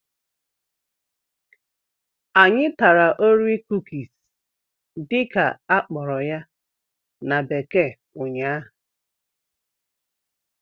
Anyị tara"orie cookies" dị ka akpo ya na bekee ụnyaahụ